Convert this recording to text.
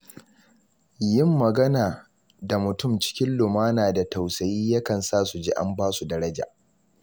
Yin magana da mutum cikin lumana da tausayi yakan sa su ji an ba su daraja.